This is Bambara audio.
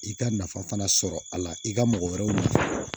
I ka nafa fana sɔrɔ a la i ka mɔgɔ wɛrɛw ɲini